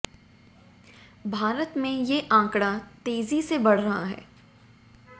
भारते में ये आंकड़ा तेज़ी से बढ़ रहा है